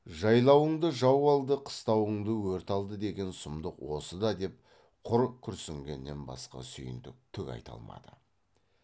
жайлуыңды жау алды қыстауыңды өрт алды деген сұмдық осы да деп құр күрсінгеннен басқа сүйіндік түк айта алмады